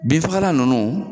Bin fagalan nunnu